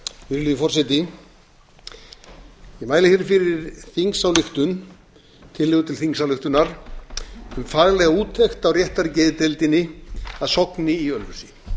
ég mæli hér fyrir tillögu til þingsályktunar um faglega úttekt á réttargeðdeildinni að sogni